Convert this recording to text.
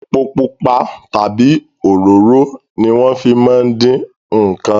Epo pupa tabi òróró ni wọn fi máa ń dín nkàn